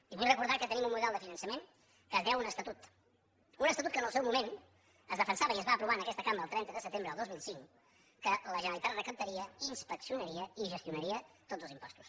i vull recordar que tenim un model de finançament que deu un estatut un estatut que en el seu moment defensava i es va aprovar en aquesta cambra el trenta de setembre del dos mil cinc que la generalitat recaptaria i inspeccionaria i gestionaria tots els impostos